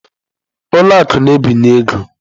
Ụlọ akụ na-ebinye ego.